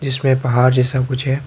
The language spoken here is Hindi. इसमें पहाड़ जैसा कुछ है।